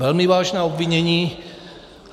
Velmi vážná obvinění.